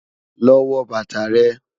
Lọ wọ bátà rẹ̀.